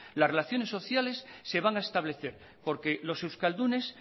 las relaciones sociales se van a establecer porque los euskaldunes